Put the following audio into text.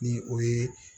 Ni o ye